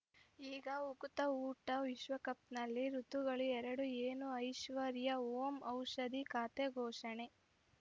ಈಗ ಉಕುತ ಊಟ ವಿಶ್ವಕಪ್‌ನಲ್ಲಿ ಋತುಗಳು ಎರಡು ಏನು ಐಶ್ವರ್ಯಾ ಓಂ ಔಷಧಿ ಖಾತೆ ಘೋಷಣೆ